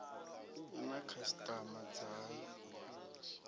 i na khasitama dzayo i